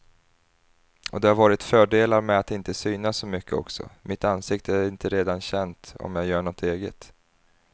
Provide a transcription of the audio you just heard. Och det har varit fördelar med att inte synas så mycket också, mitt ansikte är inte redan känt om jag gör något eget.